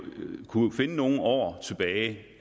nogle år tilbage i